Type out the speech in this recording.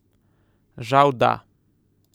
Žal da.